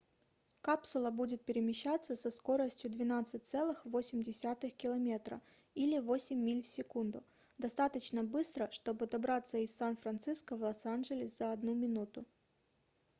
капсула будет перемещаться со скоростью 12,8 км или 8 миль в секунду достаточно быстро чтобы добраться из сан-франциско в лос-анджелес за 1 минуту